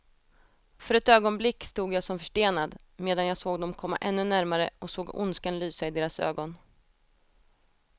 För ett ögonblick stod jag som förstenad, medan jag såg dem komma ännu närmare och såg ondskan lysa i deras ögon.